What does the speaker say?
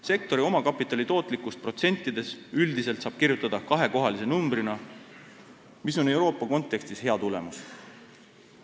Sektori omakapitali tootlikkust protsentides saab üldiselt kirjutada kahekohalise numbrina ja see on Euroopa kontekstis hea tulemus.